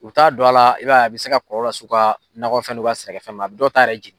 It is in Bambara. U bɛ taa don a la, i b'a ye, a bɛ se ka kɔlɔlɔ las'u ka nɔgɔ fɛn n'u ka sɛnɛ fɛn ma ,a bɛ d'u ta yɛrɛ jigin.